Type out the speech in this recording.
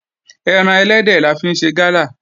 Ẹran ẹlẹ́dẹ̀ la fi ń ṣe Gala